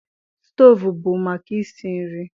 Stovu bụ maka isi nri